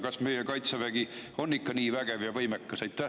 Kas meie Kaitsevägi on ikka nii vägev ja võimekas?